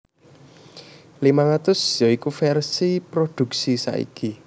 limang atus ya iku vèrsi prodhuksi saiki